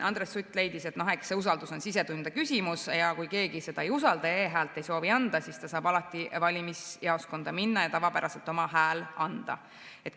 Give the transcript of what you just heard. Andres Sutt leidis, et eks usaldus ole sisetunde küsimus, kui keegi ei usalda ja e‑häält ei soovi anda, siis ta saab alati valimisjaoskonda minna ja tavapäraselt oma hääle anda.